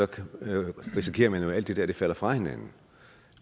risikerer man jo at alt det der falder fra hinanden